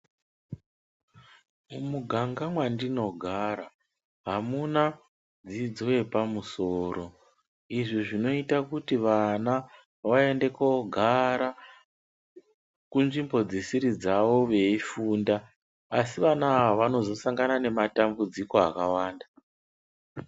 Mumuganga mwandinogara hamuna dzidzo yepamusoro izvi zvinoita kuti vana vaende koogara kunzvimbo dzisiri dzawo veifunda asi vana ava vanozosangana nematambudziko akawanda.